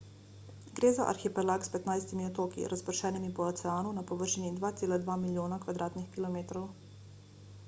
gre za arhipelag s 15 otoki razpršenimi po oceanu na površini 2,2 milijona km2